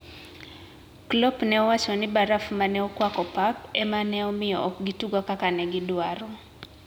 Klopp ne owacho ni baraf ma ne okwako pap ema ne omiyo ok gitugo kaka ne gidwaro.